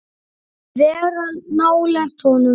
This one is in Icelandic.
Vera nálægt honum?